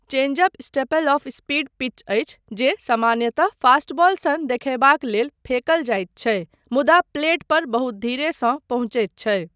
Change up staple of speed pitch अछि जे सामान्यतः फास्टबॉल सन देखयबाक लेल फेंकल जाइत छै मुदा प्लेट पर बहुत धीरेसँ पहुँचैत छै।